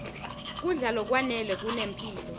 kudla lokwanele kunemphilo